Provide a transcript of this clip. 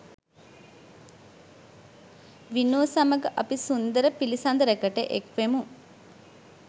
විනූ සමග අපි සුන්දර පිළිසඳරකට එක්වෙමු